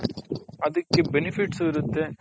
ಅದಿಕ್ಕೆ benefits ಉ ಇರುತ್ತೆ .